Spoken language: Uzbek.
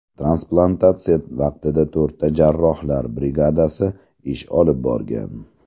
Transplantatsiya vaqtida to‘rtta jarrohlar brigadasi ish olib borgan.